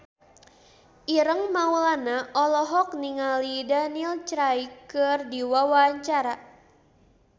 Ireng Maulana olohok ningali Daniel Craig keur diwawancara